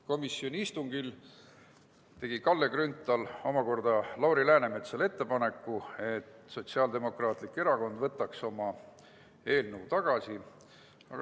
Komisjoni istungil tegi Kalle Grünthal Lauri Läänemetsale ettepaneku, et Sotsiaaldemokraatlik Erakond võtaks oma eelnõu tagasi.